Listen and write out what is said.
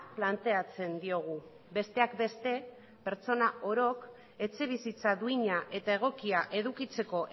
planteatzen diogu besteak beste pertsona orok etxebizitza duina eta egokia edukitzeko